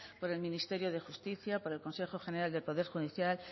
por el ministerio de justicia por el consejo general del poder judicial